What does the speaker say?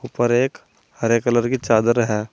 ऊपर एक हरे कलर कि चादर है।